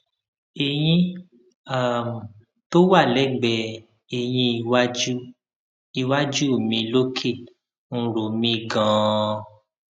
eyin um tó wà lẹgbẹẹ eyín iwájú iwájú mi lókè ń ro mí ganan